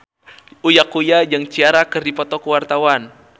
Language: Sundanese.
Uya Kuya jeung Ciara keur dipoto ku wartawan